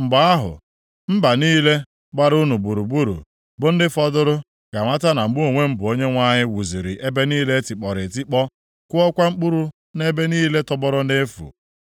Mgbe ahụ, mba niile gbara unu gburugburu, bụ ndị fọdụrụ, ga-amata na mụ onwe m bụ Onyenwe anyị wuziri ebe niile e tikpọrọ etikpọ, kụọkwa mkpụrụ nʼebe niile tọgbọrọ nʼefu.